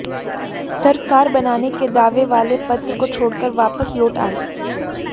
सरकार बनाने के दावे वाले पत्र को छोड़कर वापस लौट आए